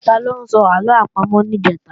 Taló sọ àlọ àpamọ̀ níjẹ̀ta?